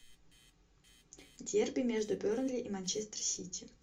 дерби между бернли и манчестер сити